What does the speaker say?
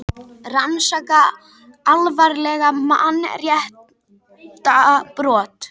Rannsaka alvarleg mannréttindabrot